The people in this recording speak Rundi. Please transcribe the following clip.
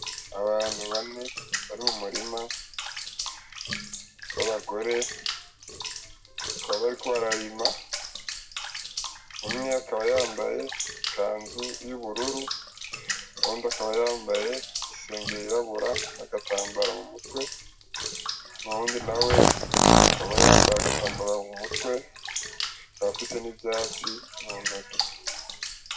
Abantu bane bari mu murima b’abagore bakaba bariko bararima umwe akaba yambaye ikanzu y’ubururu; uyundi akaba yambaye i singlet yirabura n’agatambara mu mutwe; uwundi nawe akaba yambaye agatambara mu mutwe afise n’ivyatsi mu ntoki.